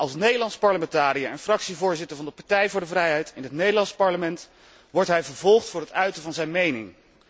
Als Nederlands parlementariër en fractievoorzitter van de Partij voor de Vrijheid in het Nederlandse parlement wordt hij vervolgd voor het uiten van zijn mening.